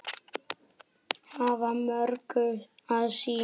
Hafa mörgu að sinna.